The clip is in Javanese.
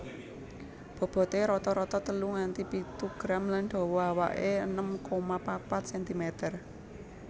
Boboté rata rata telu nganti pitu gram lan dawa awake enem koma papat sentimeter